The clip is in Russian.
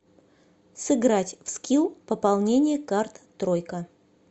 сыграть в скилл пополнение карт тройка